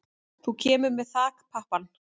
Þú kemur með þakpappann.